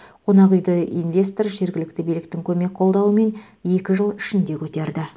қонақ үйді инвестор жергілікті биліктің көмек қолдауымен екі жыл ішінде көтерді